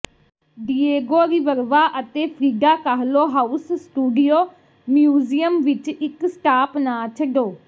Diego Rivera ਅਤੇ Frida Kahlo house studio museum ਵਿਚ ਇਕ ਸਟਾਪ ਨਾ ਛੱਡੋ